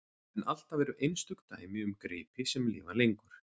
En alltaf eru einstök dæmi um gripi sem lifa lengur.